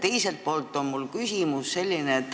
Teiselt poolt on mul selline küsimus.